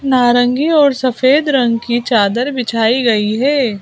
नारंगी और सफेद रंग की चादर बिछाई गई है।